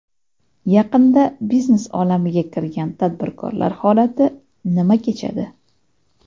Yaqinda biznes olamiga kirgan tadbirkorlar holati nima kechadi?